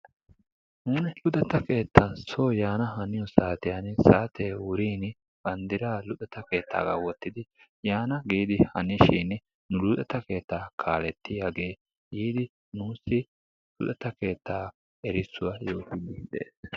Nuuni luxetta keettaappe so yaan haniyo saatiyan saatee wurin banddiraa luxetta keettaaga wottidi yaan giidi hanishin nu luxetta keettaa kaalettiyagee yiidi nuussi luxetta keettaa erissuwaa yoottidi dees.